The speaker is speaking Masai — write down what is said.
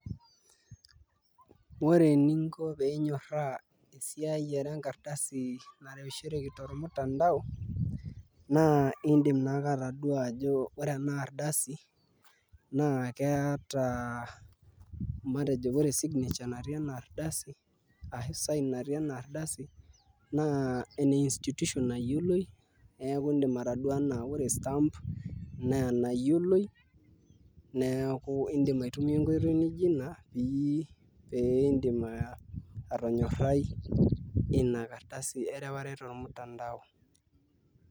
Ore eninko pee inyorraa esiai enkardasi naasishoreki tormutandao naa iindim naake atadua ajo ore ena ardasi naa keeta matejo ore signature natii ena ardasi ashu sign natii ena ardasi naa ene institution nayioloi neeku iindim ataduo ajo ore orstamp naa enayioloi neeku iindim atayiolio